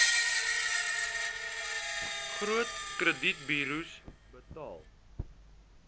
groot kredietburos betaal